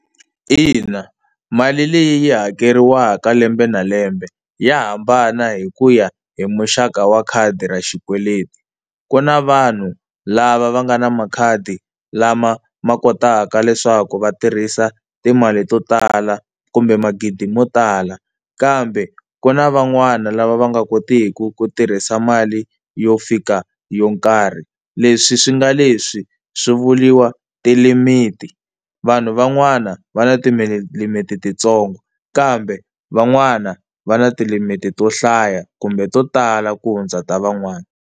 Ina mali leyi yi hakeriwaka lembe na lembe ya hambana hi ku ya hi muxaka wa khadi ra xikweleti. Ku na vanhu lava va nga na makhadi lama ma kotaka leswaku va tirhisa timali to tala kumbe magidi mo tala, kambe ku na van'wani lava va nga kotiki ku tirhisa mali yo fika yo karhi, leswi swi nga leswi swi vuriwa ti-limit-i. Vanhu van'wana va na tilimiti titsongo kambe van'wana va na ti limiti to hlaya kumbe to tala ku hundza ta van'wana.